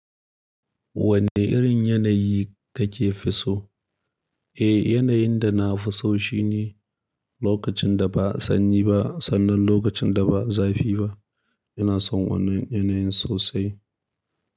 Wanne irin yanayi kake fi so? Eh, yanayin da na fi so shi ne lokacin da ba sanyi ba sannan lokacin da ba zafi ba. Ina son wannan yanayin sosai.